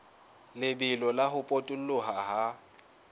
lebelo la ho potoloha ha